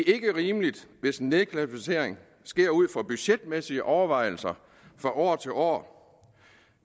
ikke rimeligt hvis en nedklassificering sker ud fra budgetmæssige overvejelser fra år til år